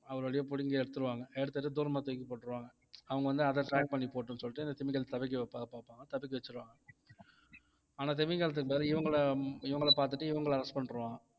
ஒருவழியா புடுங்கி எடுத்திருவாங்க எடுத்துட்டு தூரமா தூக்கி போட்டுருவாங்க அவங்க வந்து அதை track பண்ணி போகட்டும்னு சொல்லிட்டு இந்த திமிங்கலத்தை தப்பிக்க வைக்க பாப்பாங்க தப்பிக்க வச்சிருவாங்க ஆனா திமிங்கலத்துக்கு பதிலா இவங்களை இவங்களை பாத்துட்டு இவங்களை arrest பண்ணிடுவாங்க